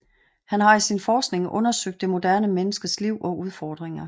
Han har i sin forskning undersøgt det moderne menneskes liv og udfordringer